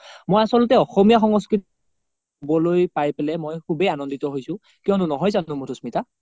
মই আচলতে অসমীয়া সংস্কৃতি বলৈ পাই পিনে খুবে আনন্দিত হৈছো কিও নো নহয় যানো মাধুস্মিতা ?